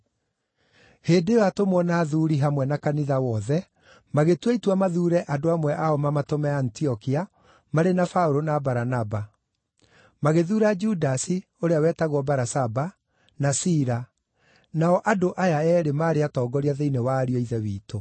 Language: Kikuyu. Hĩndĩ ĩyo atũmwo na athuuri, hamwe na kanitha wothe, magĩtua itua mathuure andũ amwe ao mamatũme Antiokia marĩ na Paũlũ na Baranaba. Magĩthuura Judasi (ũrĩa wetagwo Barasaba) na Sila, nao andũ aya eerĩ maarĩ atongoria thĩinĩ wa ariũ a Ithe witũ.